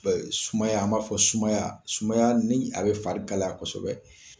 Sumaya an b'a fɔ sumaya, sumaya ni a be fari kalaya kɔsɔbɛ.